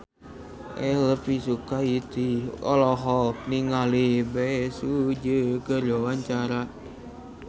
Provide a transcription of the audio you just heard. Elvi Sukaesih olohok ningali Bae Su Ji keur diwawancara